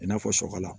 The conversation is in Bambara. I n'a fɔ sɔgɔla